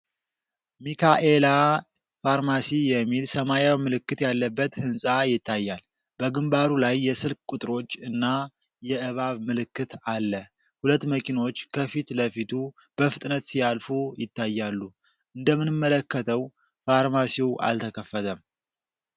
ሚካኤላ ፋርማሲ የሚል ሰማያዊ ምልክት ያለበት ህንፃ ይታያል። በግንባሩ ላይ የስልክ ቁጥሮች እና የእባብ ምልክት አለ። ሁለት መኪኖች ከፊት ለፊቱ በፍጥነት ሲያልፉ ይታያሉ። እንደምንመለከተው ፋርማሲው አልተከፈተም።